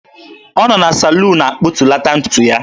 Ọ nọ na saluun akpụtulata ntutu ya.